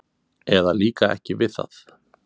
eða líka ekki við það.